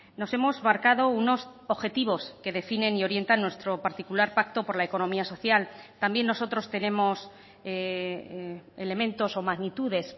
nos hemos marcado unos objetivos que definen y orientan nuestro particular pacto por la economía social también nosotros tenemos elementos o magnitudes